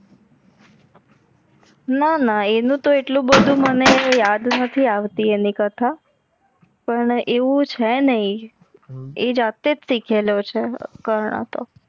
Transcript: ના ના અનુ તો આટલું બધુ યાદ નથી આવતી આની કથા પણ એવું છે નઈ એ જાતેજ સીખેલો છે કર્ણ તો